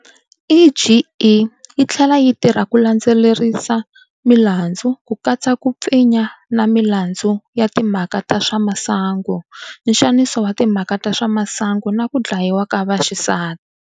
EGE yi tlhela yi tirha ku landzelerisa milandzu, ku katsa ku pfinya na milandzu ya timhaka ta swa masangu, nxaniso wa timhaka ta swa masangu na ku dlayiwa ka vaxisati.